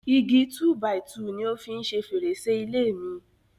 Igi túbàìtuùni ó fi ń o fi ṣe fèrèsé ilé mi.